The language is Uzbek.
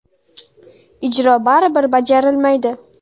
Ijro baribir bajarilmaydi.